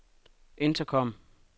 intercom